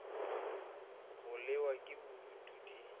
go lewa ke bodutu di